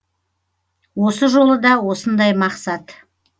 осы жолы да осындай мақсат